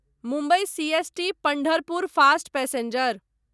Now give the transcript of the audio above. Mumbai CST Pandharpur fast passenger